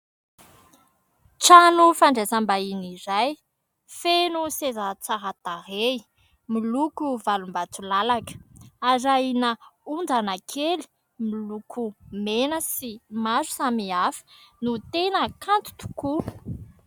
Trano fandraisam-bahiny iray, feno seza tsara tarehy miloko valom-bato lalaka, arahina ondana kely miloko mena sy maro samy hafa no tena kanto tokoa.